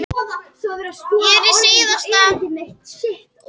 Hún týndi einnig veskinu